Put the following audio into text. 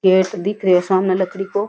पेड़ दिख रियो सामे लकड़ी को --